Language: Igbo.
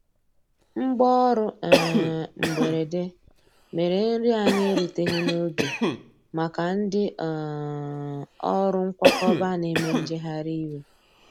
Mgbaọrụ um mgberede mere nri anyi eruteghi n'oge maka ndi um ọrụ nkwakọba n'eme njeghari iwe.